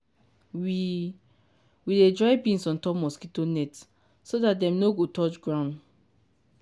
we we dey dry beans on top mosquito net so that dem nor go touch ground.